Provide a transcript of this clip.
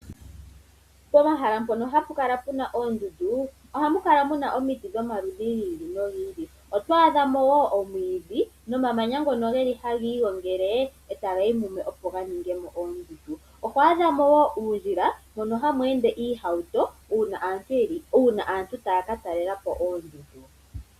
Pomahala mpono hapu kala puna oondundu ohamu kala muna omiti dhoma ludhi gi ili nogi ili. Oto adha nomwiidhi nomamanya ngono geli hagi gongele etaga yi mumwe opo ga ningepo oondundu. Omuna uundjila mono hamu ende oohawuto uuna aantu taya ka talelapo oondundu.